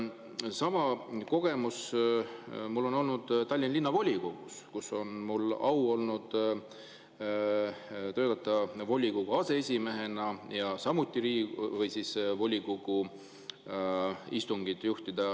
Sama kogemus on mul Tallinna Linnavolikogust, kus mul oli au töötada volikogu aseesimehena ja volikogu istungit juhtida.